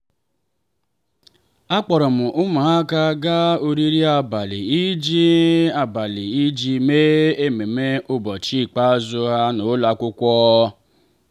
akpọrọ m ụmụaka gaa oriri abalị iji abalị iji mee ememme ụbọchị ikpeazụ ha n'ụlọ akwụkwọ.